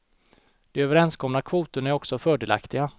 De överenskomna kvoterna är också fördelaktiga.